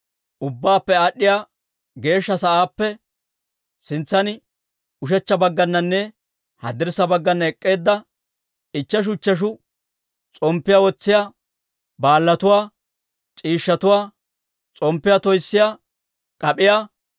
Ubbaappe Aad'd'iyaa Geeshsha Sa'aappe, sintsan ushechcha baggananne haddirssa baggana ek'k'eedda, ichcheshu ichcheshu s'omppiyaa wotsiyaa baalaatuwaa, C'iishshatuwaa, s'omppiyaa toyssiyaa k'ap'iyaa,